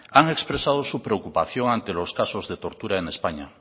han expresado su preocupación ante los casos de tortura en españa